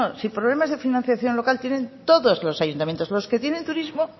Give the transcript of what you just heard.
si problemas de financiación local tienen todos los ayuntamientos los que tienen turismo